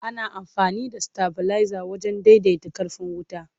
Ana amfani da sitabileza wajen daidaita ƙarfin wuta.